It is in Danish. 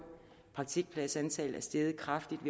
praktikpladsantallet er steget kraftigt